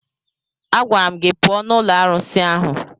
Agwara m gị pụọ n'ụlọ arụsị ahụ!